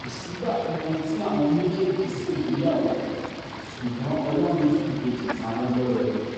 kò sígbà kankan tí àwọn méjèèjì ṣègbéyàwó ṣùgbọ́n ọlọ́run fi ìbejì ta wọ́n lọ́rẹ